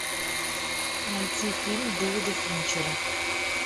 найти фильм дэвида финчера